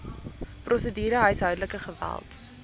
prosedure huishoudelike geweld